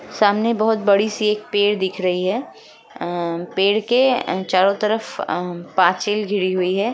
सामने बहुत बड़ी सी एक पेड़ दिख रही है अ पेड़ के ए चारो तरफ अ पाचिल घिरी हुई है।